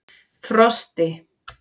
Frosti